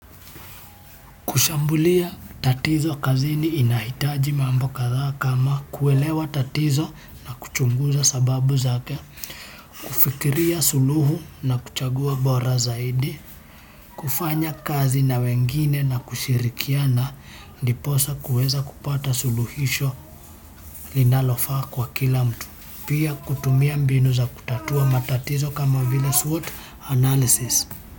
Kushambulia tatizo kazini inahitaji mambo kadhaa kama kuelewa tatizo na kuchunguza sababu zake, kufikiria suluhu na kuchagua bora zaidi, kufanya kazi na wengine na kushirikiana, ndiposa kuweza kupata suluhisho linalofaa kwa kila mtu, pia kutumia mbinu za kutatua matatizo kama vila SWOT analysis.